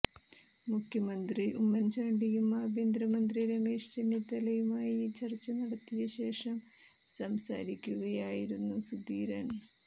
മുഖ്യമന്ത്രി ഉമ്മൻചാണ്ടിയും ആഭ്യന്തര മന്ത്രി രമേശ് ചെന്നിത്തലയുമായി ചർച്ച നടത്തിയ ശേഷം സംസാരിക്കുകയായിരുന്നു സുധീരൻ